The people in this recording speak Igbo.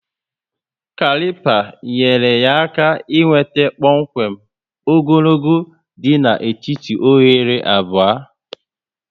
kalipa nyere ya aka e nweta kpọmkwem ogologo dị na étíti oghere abụọ